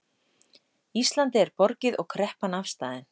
Íslandi er borgið og kreppan afstaðin